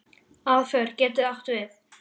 Aðför getur átt við